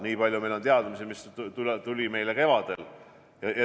Meil on nii palju teadmisi, kui me saime kevadel.